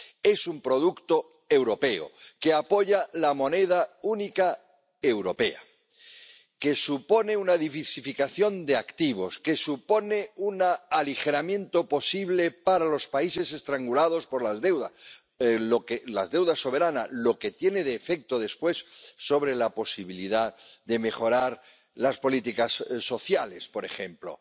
Es un producto europeo que apoya la moneda única europea, que supone una diversificación de activos, que supone un aligeramiento posible para los países estrangulados por las deudas —la deuda soberana—, lo que tiene un efecto posterior sobre la posibilidad de mejorar las políticas sociales, por ejemplo.